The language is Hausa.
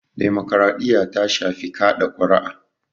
Demokaraɗiya ta shafi kaɗa kuri'a